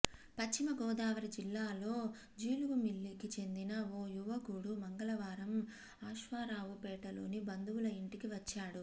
పశ్చిమగోదావరి జిల్లా జీలుగుమిల్లికి చెందిన ఓ యువకుడు మంగళవారం అశ్వారావుపేటలోని బంధువుల ఇంటికి వచ్చాడు